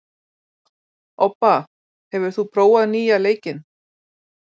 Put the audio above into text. Obba, hefur þú prófað nýja leikinn?